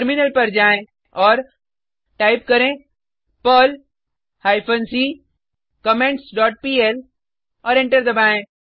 terminal पर जाएँ और टाइप करें Perl hyphen C comments dot PL और एंटर दबाएँ